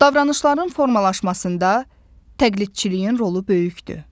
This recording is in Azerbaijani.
Davranışların formalaşmasında təqlidçiliyin rolu böyükdür.